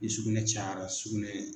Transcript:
Ni sugunɛ cayara sugunɛ